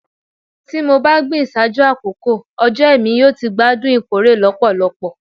Ti mo ba gbin ṣaaju akoko ojo Emi yoo ti gbadun ikore lọpọlọpọ